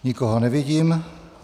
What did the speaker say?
Nikoho nevidím.